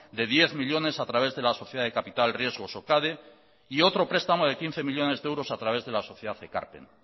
de diez millónes a través de la sociedad de capital riesgos socade y otro prestamo de quince millónes de euros a través de la sociedad ekarpen